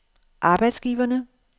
arbejdsgiverne